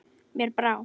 Mér brá.